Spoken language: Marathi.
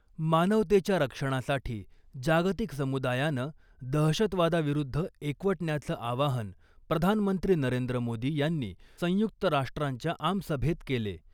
मानवतेच्या रक्षणासाठी जागतिक समुदायानं दहशतवादाविरुद्ध एकवटण्याचं आवाहन प्रधानमंत्री नरेंद्र मोदी यांनी संयुक्त राष्ट्रांच्या आमसभेत केले .